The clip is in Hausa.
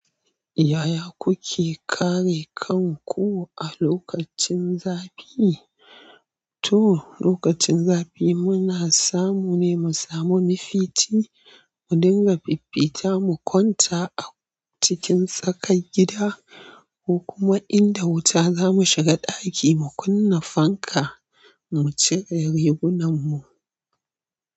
Yaya kuke kare kanku a lokacin zafi? To, lokacin zafi muna samu ne mu samu mafici, mu dinga fifita mu kwanta a cikin tsakar gida, ko kuma inda wuta zamu shiga ɗaki mu kunna fanka mu cire rigunan mu.